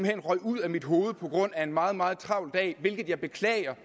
hen røg ud af mit hoved på grund af en meget meget travl dag hvilket jeg beklager